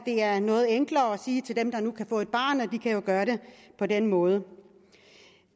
det er noget enklere at sige til dem der nu kan få et barn at de jo kan gøre det på den måde